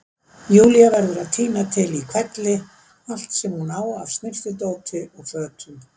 Júlía verður að tína til í hvelli allt sem hún á af snyrtidóti og fötum.